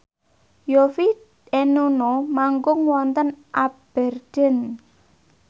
Yovie and Nuno manggung wonten Aberdeen